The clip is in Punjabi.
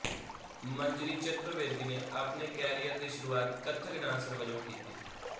ਮੰਜਰੀ ਚਤੁਰਵੇਦੀ ਨੇ ਆਪਣੇ ਕੈਰੀਅਰ ਦੀ ਸ਼ੁਰੂਆਤ ਕਥਕ ਡਾਂਸਰ ਵਜੋਂ ਕੀਤੀ